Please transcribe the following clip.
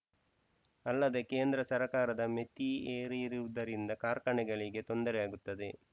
ಅಲ್ಲದೆ ಕೇಂದ್ರ ಸರ್ಕಾರದ ಮಿತಿ ಹೇರಿರುವುದರಿಂದ ಕಾರ್ಖಾನೆಗಳಿಗೆ ತೊಂದರೆಯಾಗುತ್ತದೆ